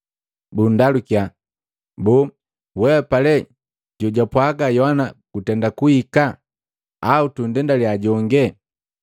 bukundalukiya, “Boo, wehapa le jojapwaga Yohana gutenda kuhika, au tundendaliya jonge?”